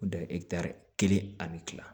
O de ye kelen ani kila